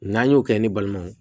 N'an y'o kɛ ni balimaw ye